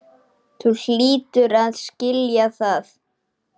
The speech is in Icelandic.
Þú hlýtur að skilja það.